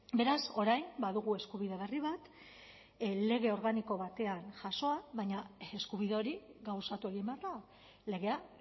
beraz orain badugu eskubide berri bat lege organiko batean jasoa baina eskubide hori gauzatu egin behar da legea